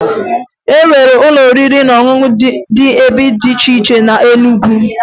E nwere ụlọ oriri na ọṅụṅụ dị ebe dị iche iche na Enugwu